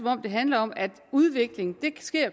handler om at udvikling